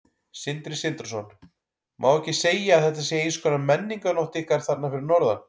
Sindri Sindrason: Má ekki segja að þetta sé eins konar menningarnótt ykkar þarna fyrir norðan?